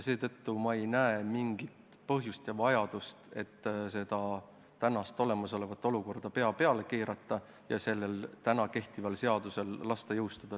Seetõttu ei näe ma mingit põhjust ega vajadust tänast olukorda pea peale keerata ja praegu kehtival seadusel jõustuda lasta.